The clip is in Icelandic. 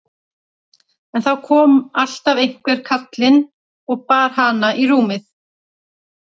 En þá kom alltaf einhver kallinn og bar hana í rúmið.